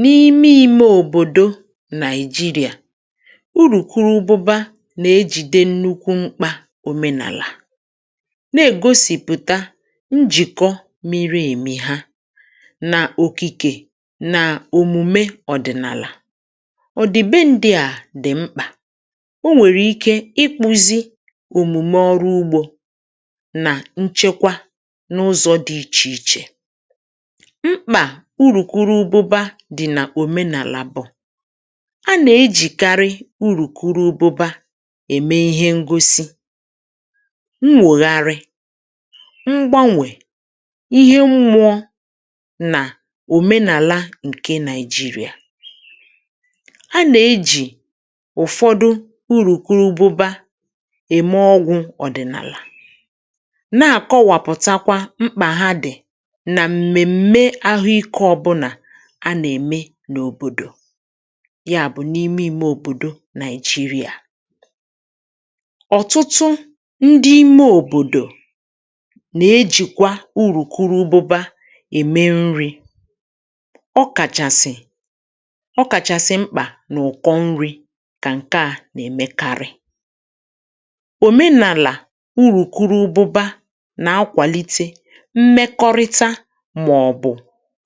N’ime ime òbòdo Nàìjirià, urùkwuru ụbụbȧ nà-ejìde nnukwu mkpȧ òmenàlà, na-ègosìpụ̀ta njìkọ miri èmi ha nà okikė na òmùme ọ̀dị̀nàlà. Ọdìbe ndị̇ à dì mkpà. O nwèrè ike ikpu̇zi̇ òmùme ọrụ ugbȯ nà nchekwa n’ụzọ̇ dị̇ ichè ichè. Mkpȧ urùkwuru ụbụbȧ dì nà òmenàlà bụ̀, a nà-ejìkarị urukwuru ụbụbȧ ème ihe ngosi, nwègharị, ṁgbanwè, ihe mmụọ̇, nà òmenàla ǹke Nàìjirià. A nà-ejì ụ̀fọdụ urùkwuru ụbụbȧ ème ọgwụ̇ ọ̀dị̀nàlà, na-àkọwapụtakwa mkpà ha dì a nà mmemme ahụ ike ọbụla a na-ème n’òbòdò, ya bụ̀ n’ime ime òbòdo Nàìjirià. Ọtụtụ ndị ime òbòdò nà-ejìkwa urùkuru ùbụbȧ ème nri̇, ọ kàchàsị, ọ kàchàsị mkpà n’ụ̀kọ nri̇ kà ǹke à nà-èmekarị̇. Òmenàlà urùkwuru ùbụbȧ nà akwàlite mmekọrịta mà ọ̀bụ̀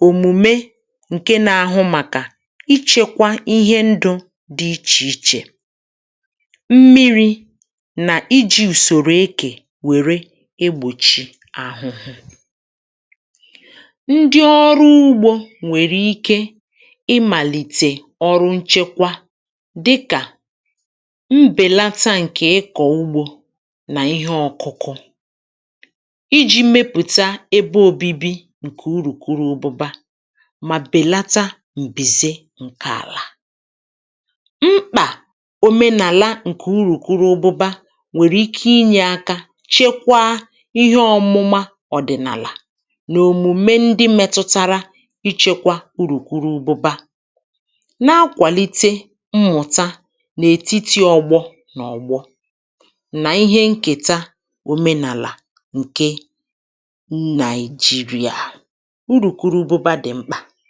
omume ǹke nȧ-ȧhụ̇ màkà ichėkwȧ ihe ndu̇ dị̇ ichè ichè, mmiri̇, nà iji̇ ùsòrò ekè wère egbòchi àhụhụ̇. Ndị ọrụ ugbȯ nwèrè ike imàlìtè ọrụ nchekwa dịkà mbèlata ǹkè ịkọ̀ ugbȯ nà ihe ọ̇kụ̇kụ̇, iji̇ mepùta ebe òbibi ǹkè uru̇kwuru ụbụba, mà bèlata m̀bìze ǹke àlà. Mkpà òmenàlà ǹkè urùkwuru ùbụbȧ nwèrè ike inyė aka chekwaa ihe ọmụma ọ̀dị̀nàlà nà òmùme ndị metụtara ichekwa urùkwuru ùbụbȧ, na-akwàlite mmụ̀ta nà ètiti ọ̇gbọ nà ọ̀gbọ, nà ihe ǹkèta òmenàlà ǹke Nàìjirià. Urùkwuru ụbụbȧ dị mkpà.